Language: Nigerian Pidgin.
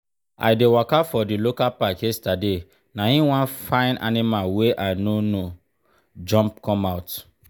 i dey waka for di local park yesterday na him one fine animal wey i no know jump come out.